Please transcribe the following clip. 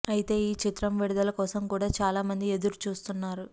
అయితే ఈ చిత్రం విడుదల కోసం కూడా చాలా మంది ఎదురు చూస్తున్నారు